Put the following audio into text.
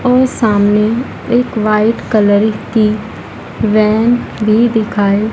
और सामने एक वाइट कलर की वैन भी दिखाई--